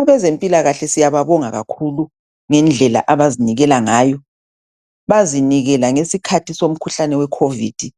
Abezempilakahle siyababonga kakhulu ngendlela abazinikela ngayo bazinikela ngesikhathi sekhovidi.